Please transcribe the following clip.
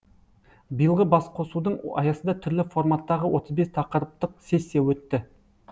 биылғы басқосудың аясында түрлі форматтағы отыз бес тақырыптық сессия өтті